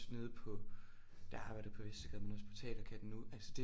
Nede på da jeg arbejdede på Vestergade men også på Teaterkatten nu altså det